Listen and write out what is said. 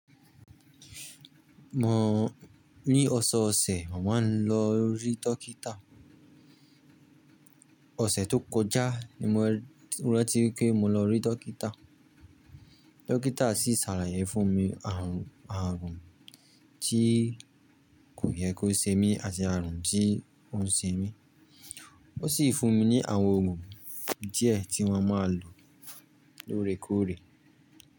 Mò ní ọ̀sẹ̀ ọ̀sẹ̀ mà má n lọ rí dókítà. Òṣè tó kọjá ni mó ranti wipe mó lọ rí dókítà. Dókítà sí sàlàyé fún mi àrùn tí kò yẹ kó ṣẹ mí àtì àrùn tí ó ń ṣẹ mí. Ó ṣì fún mí ní àwọn ògùn díẹ̀ tí wọ́n má n lò lóòrèkóòrè.